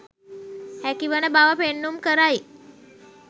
හැකිවන බව පෙන්නුම් කරයි.